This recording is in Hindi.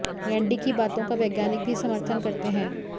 रैंडी की बातों का वैज्ञानिक भी समर्थन करते हैं